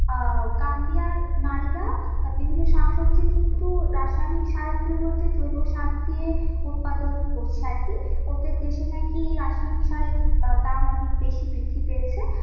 আহ কামবিয়ার নারীরা বিভিন্ন শাকসবজি কিন্তু রাসায়নিক সারের পরিবর্তে জৈব সার দিয়ে উৎপাদন করছে আর কি ওদের দেশে নাকি রাসায়নিক সারের দাম অনেক বেশি বৃদ্ধি পেয়েছে